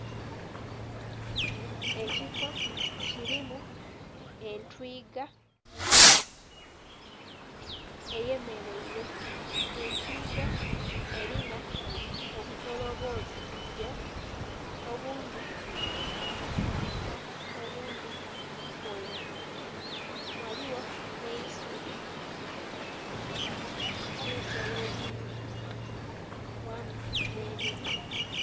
Ekifo kilimu entwiga eyemeleile. Entwiga elina obutolobogyo obundhi bwa kitaka obundhi bweru. Ghaligho nh'eisubi nh'ensolo edhindhi, wamu nh'emiti.